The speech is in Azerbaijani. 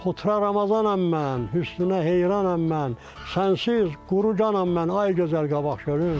Xotara Ramazanam mən, hüsnünə heyranam mən, sənsiz quru canam mən ay gözəl Qabaqçölüm.